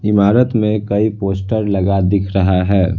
इमारत में कई पोस्टर लगा दिख रहा है।